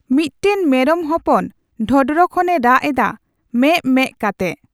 ᱵᱢᱤᱫ ᱴᱮᱱ ᱢᱮᱨᱚᱢ ᱦᱚᱯᱚᱱ ᱰᱚᱸᱰᱷᱨ ᱠᱷᱚᱱ ᱮ ᱨᱟᱜ ᱮᱫᱟ ᱢᱮᱜᱽ ᱢᱮᱽ ᱠᱟᱛᱮ ᱾